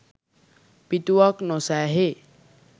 පිටුවක් නො සෑහේ